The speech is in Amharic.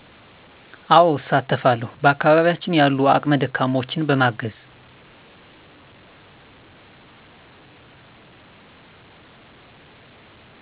አወ እሳተፋለዉ በአከባቢያችን ያሉ አቅመ ደካማወችን በማገዝ